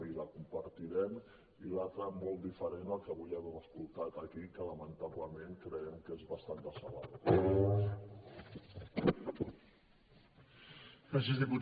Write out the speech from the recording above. i la compartirem i l’altra molt diferent el que avui hem escoltat aquí que lamentablement creiem que és basant decebedor